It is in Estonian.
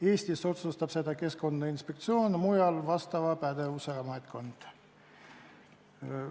Eestis otsustab seda Keskkonnainspektsioon, mujal vastava pädevusega ametkond konkreetses riigis.